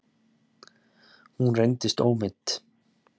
Hún reyndist ómeidd.